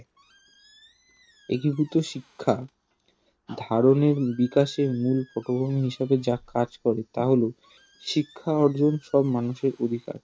একীভূত শিক্ষা ধারনীয় বিকাশের মুল উপকরণ হিসাবে যা কাজ করে তা হলো শিক্ষা অর্জন সব মানুষের অধিকার